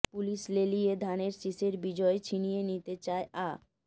police লেলিয়ে ধানের শীষের বিজয় ছিনিয়ে নিতে চায় আ